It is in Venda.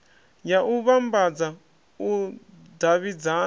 ya u vhambadza u davhidzana